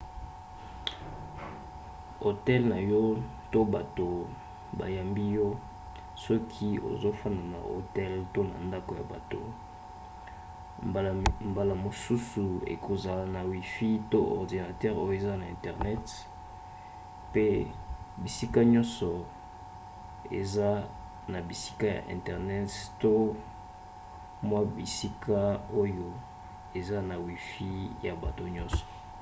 hotel na yo to bato bayambi yo soki ozofanda na hotel to na ndako ya bato mbala mosusu ekozala na wifi to ordinatere oyo eza na internet pe bisika nyonso eza na bisika ya internet to mwa bisika oyo eza na wifi ya bato nyonso